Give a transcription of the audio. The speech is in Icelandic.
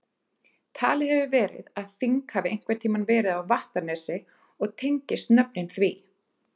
Talið hefur verið að þing hafi einhvern tíma verið á Vattarnesi og tengist nöfnin því.